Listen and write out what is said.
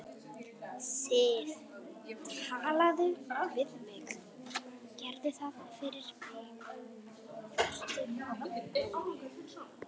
Sif. talaðu við mig. gerðu það fyrir mig, vertu róleg.